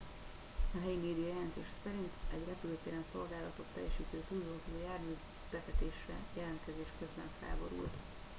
a helyi média jelentése szerint egy repülőtéren szolgálatot teljesítő tűzoltó jármű bevetésre jelentkezés közben felborult